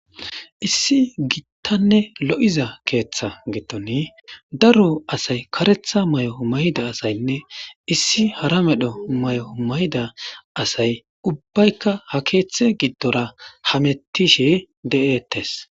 Issi gittanne lo'iza keeththa gittoni daro asay karetha may'o mayda asaynne issi hara medho may'o mayda asay ubbaykka ha keeththe giddora hamettishe de'ettes.